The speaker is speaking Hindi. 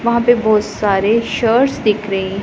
वहां पे बहोत सारे शर्ट्स दिख रहे--